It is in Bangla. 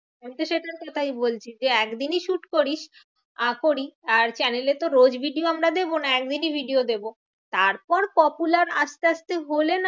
আমিতো তাই বলছি। যে একদিনই shoot করিস আহ করি আর channel এ তো রোজ video আমরা দেব না, একদিনই video দেব। তারপর popular আস্তে আস্তে হলে